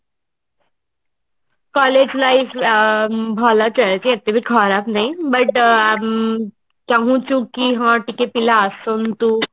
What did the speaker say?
collage life ଅ ଭଲ ଚାଲିଛି ଏତେ ବି ଖରାପ ନାଇଁ but ଉଁ ଚାହୁଞ୍ଚୁ କି ହଁ ଟିକେ ପିଲା ଆସନ୍ତୁ